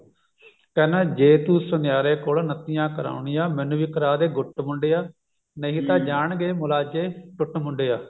ਕਹਿੰਦਾ ਜੇ ਤੂੰ ਸੁਨਿਆਰੇ ਕੋਲੋਂ ਨੱਤੀਆਂ ਕਰਾਉਣੀ ਆ ਮੈਨੂੰ ਵੀ ਕਰਦੇ ਗੁੱਟ ਮੁੰਡਿਆ ਨਹੀ ਤਾਂ ਜਾਣਗੇ ਮੁਲਾਜੇ ਟੁੱਟ ਮੁੰਡਿਆ